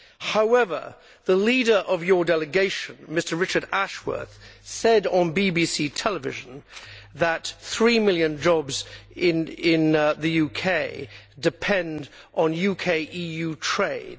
However, the leader of your delegation, Mr Richard Ashworth, said on BBC Television that three million jobs in the UK depend on UK EU trade.